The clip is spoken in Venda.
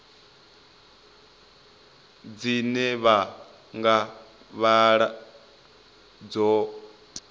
dzine vha nga vhala dzo